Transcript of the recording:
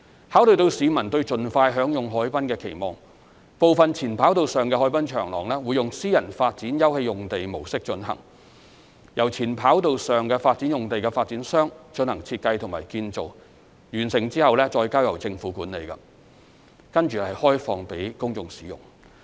考慮到市民對盡快享用海濱的期望，部分前跑道上的海濱長廊會用私人發展休憩用地模式進行，由前跑道上發展用地的發展商進行設計與建造，完成後再交由政府管理，開放予公眾使用。